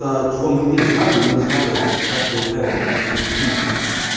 аа чего мы не знали мы не знали как проявляется включение тимуса